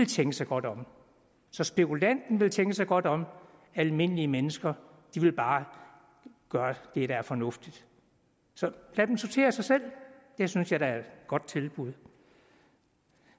tænke sig godt om så spekulanten vil tænke sig godt om almindelige mennesker vil bare gøre det der er fornuftigt så lad dem sortere sig selv det synes jeg da er et godt tilbud